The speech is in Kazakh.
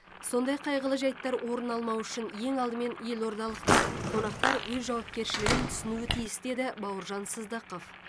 сондай қайғылы жайттар орын алмауы үшін ең алдымен елордалықтар қонақтар өз жауапкершілігін түсінуі тиіс деді бауыржан сыздықов